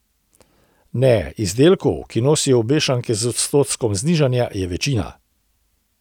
Ne, izdelkov, ki nosijo obešanke z odstotkom znižanja, je večina.